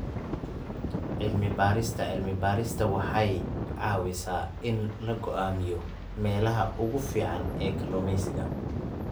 Cilmi-baarista cilmi-baarista waxay caawisaa in la go'aamiyo meelaha ugu fiican ee kalluumeysiga.